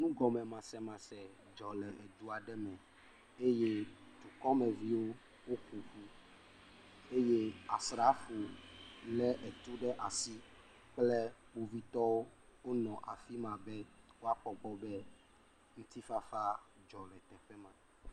Nugɔmemasemase dzɔ le du aɖe me eye dukɔmeviwo woƒoƒu eye asrafowo le etu ɖe asi kple kpovitɔwo wonɔ afi ma dzi be woakpɔ egbɔ be ŋutifafa dzɔ le teƒe ma.